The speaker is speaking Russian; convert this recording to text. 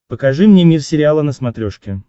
покажи мне мир сериала на смотрешке